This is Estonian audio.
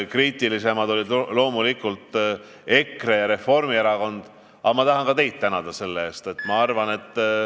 Kriitilisemad olid loomulikult EKRE ja Reformierakond, aga ma tahan ka neid sõnavõtu eest tänada.